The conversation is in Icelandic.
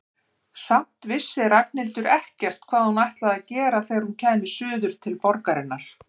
Samt vissi Ragnhildur ekkert hvað hún ætlaði að gera þegar hún kæmi suður til borgarinnar.